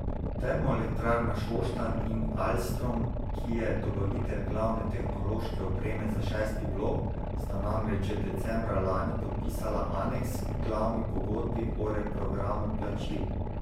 Termoelektrarna Šoštanj in Alstrom, ki je dobavitelj glavne tehnološke opreme za šesti blok, sta namreč že decembra lani podpisala aneks k glavni pogodbi o reprogramu plačil.